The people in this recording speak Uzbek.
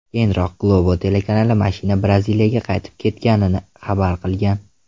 Keyinroq Globo telekanali mashina Braziliyaga qaytib ketganini xabar qilgan.